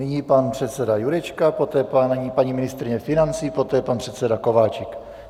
Nyní pan předseda Jurečka, poté paní ministryně financí, poté pan předseda Kováčik.